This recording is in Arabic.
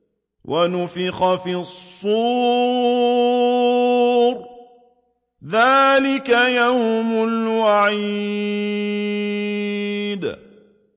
وَنُفِخَ فِي الصُّورِ ۚ ذَٰلِكَ يَوْمُ الْوَعِيدِ